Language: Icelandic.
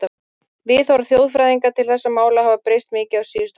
Viðhorf þjóðfræðinga til þessara mála hafa breyst mikið á síðustu áratugum.